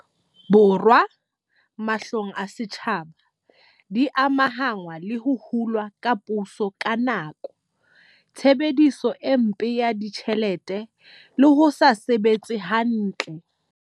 Borwa, mahlong a setjhaba, di amahanngwa le ho hulwa ha puso ka nko, tshebediso e mpe ya ditjhelete le ho se sebetse hantle.